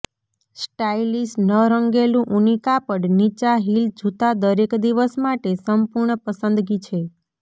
stylish ન રંગેલું ઊની કાપડ નીચા હીલ જૂતા દરેક દિવસ માટે સંપૂર્ણ પસંદગી છે